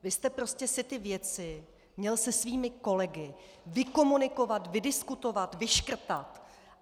Vy jste si prostě ty věci měl se svými kolegy vykomunikovat, vydiskutovat, vyškrtat!